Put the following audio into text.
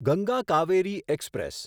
Ganga Kaveri express